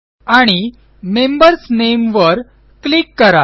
आणि membersनामे वर क्लिक करा